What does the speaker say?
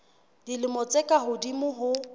dilemo tse ka hodimo ho